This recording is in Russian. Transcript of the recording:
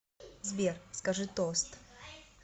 сбер скажи тост